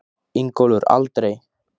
Ingólfur: Aldrei?